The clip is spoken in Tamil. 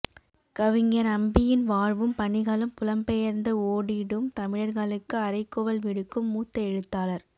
கவிஞர் அம்பியின் வாழ்வும் பணிகளும் புலம்பெயர்ந்து ஓடிடும் தமிழர்களுக்கு அறைகூவல் விடுக்கும் மூத்த எழுத்தாளர்